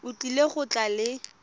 o tlile go tla le